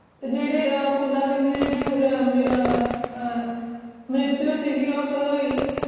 ਜੇਦੇ ਫੂਲਾ ਸਿੰਘ ਦੀ ਮ੍ਰਿਤਯੁ ਸੀਗੀ ਉਹ ਕਦੋ ਹੋਇ ਸੀ